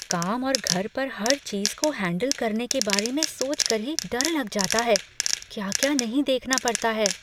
काम और घर पर हर चीज़ को हैंडल करने के बारे में सोचकर ही डर लग जाता है। क्या क्या नहीं देखना पड़ता है।